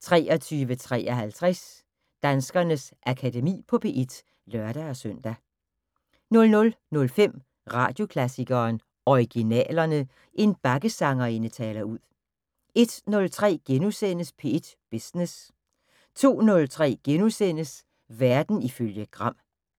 23:53: Danskernes Akademi på P1 (lør-søn) 00:05: Radioklassikeren: Originalerne. En bakkesangerinde taler ud 01:03: P1 Business * 02:03: Verden ifølge Gram *